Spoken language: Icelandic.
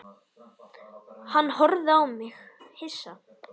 Hann horfði á mig hissa.